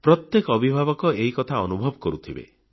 ପ୍ରତ୍ୟେକ ଅଭିଭାବକ ଏହି କଥା ଅନୁଭବ କରୁଥିବେ